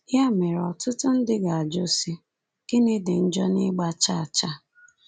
Ya mere, ọtụtụ ndị ga-ajụ, sị, ‘Gịnị dị njọ n’ịgba chaa chaa?’